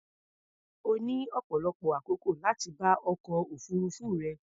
Ó ní ọ̀pọ̀lọpọ̀ àkókò láti bá ọkọ̀ òfuruufú rẹ̀.